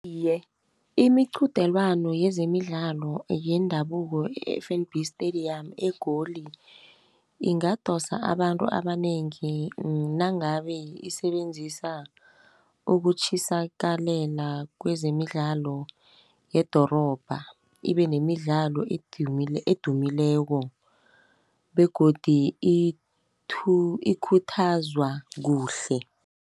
Iye, imiqudelwando yezemidlalo yendabuko e-F_N_B stadium eGoli ingadosa abantu abanengi, nangabe isebenzisa ukutjhisakalela kwezemidlalo yedorobha. Ibenemidlalo edumileko begodu ikhuthazwa kuhle.